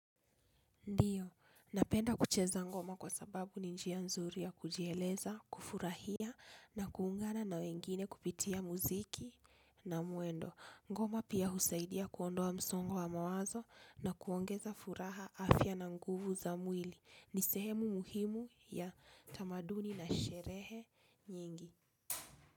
Ndiyo, napenda kucheza ngoma kwa sababu ni njia nzuri ya kujieleza, kufurahia na kuungana na wengine kupitia muziki na mwendo. Ngoma pia husaidia kuondoa msongo wa wa mawazo na kuongeza furaha afya na nguvu za mwili. Ni sehemu muhimu ya tamaduni na sherehe nyingi.